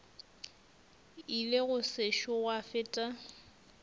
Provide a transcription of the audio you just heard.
ile go sešo gwa feta